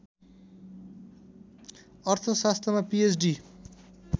अर्थशास्त्रमा पीएचडी